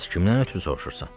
Bəs kimdən ötrü soruşursan?